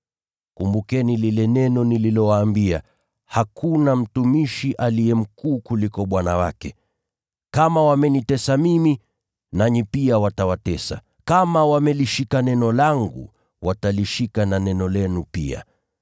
Kumbukeni lile neno nililowaambia, ‘Hakuna mtumishi aliye mkuu kuliko bwana wake.’ Kama wamenitesa mimi, nanyi pia watawatesa. Kama wamelishika neno langu, watalishika na neno lenu pia.